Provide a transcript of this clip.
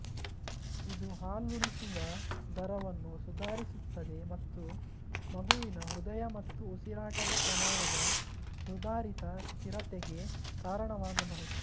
ಇದು ಹಾಲುಣಿಸುವ ದರವನ್ನು ಸುಧಾರಿಸುತ್ತದೆ ಮತ್ತು ಮಗುವಿನ ಹೃದಯ ಮತ್ತು ಉಸಿರಾಟದ ಪ್ರಮಾಣದ ಸುಧಾರಿತ ಸ್ಥಿರತೆಗೆ ಕಾರಣವಾಗಬಹುದು